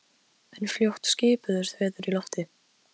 Agða, hvað er opið lengi í Tíu ellefu?